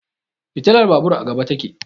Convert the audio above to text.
Fitilar babur a gaba ta ke